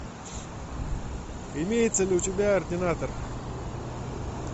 имеется ли у тебя ординатор